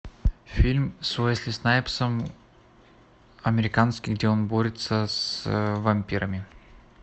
фильм с уэсли снайпсом американский где он борется с вампирами